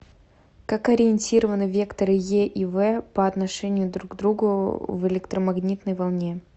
как ориентированы векторы е и в по отношению друг к другу в электромагнитной волне